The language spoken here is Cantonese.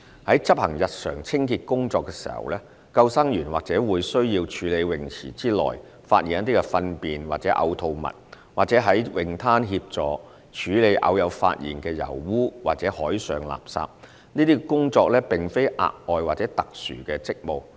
在執行日常清潔工作時，救生員或會需要處理泳池內發現的糞便或嘔吐物，或在泳灘協助處理偶有發現的油污或海上垃圾，這些工作並非額外或特殊職務。